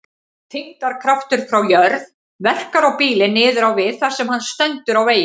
Þyngdarkraftur frá jörð verkar á bílinn niður á við þar sem hann stendur á veginum.